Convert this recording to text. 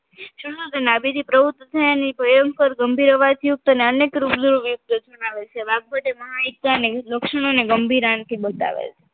શરૂયાત માંથી નાભિથી પ્રવૃત્ત થયાની સ્વયંપર ગંભીર અવાજ યુક્ત નાં અન્ય યોગ દર્શન આવે છે છેવટે મહાયુક્તાને લક્ષણોને ગંભીર આણથી બતાવે છે